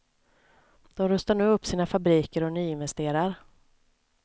De rustar nu upp sina fabriker och nyinvesterar.